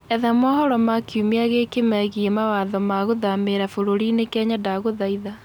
etha mohoro ma kĩumĩa giki meegĩe mawatho ma guthamira bũrũrĩĩni kenya ndagũthaĩtha